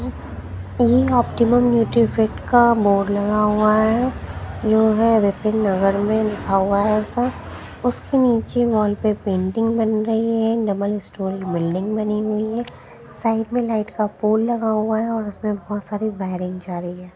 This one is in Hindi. -- ये ऑप्टिमम न्यूट्रीफिट का बोर्ड लगा हुआ है जो है विपिन नगर में लिखा हुआ है ऐसा उसके नीचे वॉल पे पेंटिंग बन रही है डबल स्टोर बिल्डिंग बनी हुई है साइड में लाइट का पोल लगा हुआ है और उसमें बोहोत सारी वाइरिंग जा रही है।